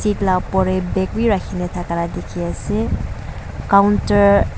la opor te bag bi rakhina thaka la dikhi ase counter .